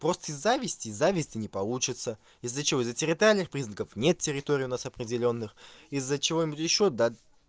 просто из завести завести не получится из-за чего из-за территориальных признаков нет территорий у нас определённых из-за чего-нибудь ещё да